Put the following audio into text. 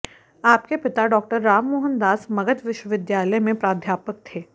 आपके पिता डॉक्टर राम मोहन दास मगध विश्वविद्यालय में प्राध्यापक थे